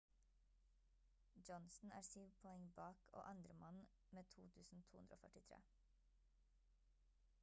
johnson er syv poeng bak og andremann med 2243